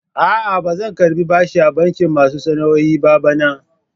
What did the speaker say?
A'a, ba zan karɓi bashi a bankin masu sana'o'i ba bana.